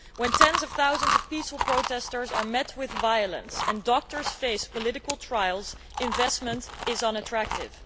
When tens of thousands of peaceful protestors are met with violence and doctors face political trials, investment is unattractive.